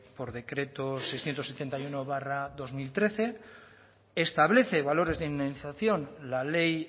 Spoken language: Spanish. por decreto seiscientos setenta y uno barra dos mil trece establece valores de indemnización la ley